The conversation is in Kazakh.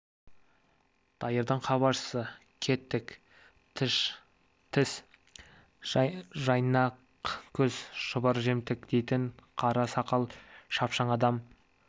дайырдың хабаршысы кетік тіс жайнақкөз шұбар жемтік дейтін қара сақал шапшаң адам